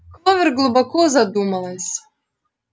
кловер глубоко задумалась